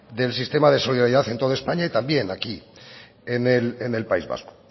del sistema de solidaridad en toda españa y también aquí en el país vasco